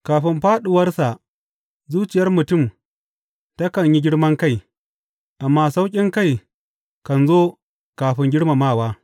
Kafin fāɗuwarsa zuciyar mutum takan yi girman kai, amma sauƙinkai kan zo kafin girmamawa.